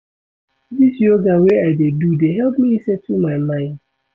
Dis yoga wey I dey do dey help me settle my mind.